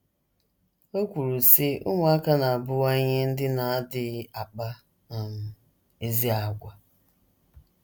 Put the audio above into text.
O kwuru, sị: “ Ụmụaka na - abụwanye ndị na - adịghị akpa um ezi àgwà.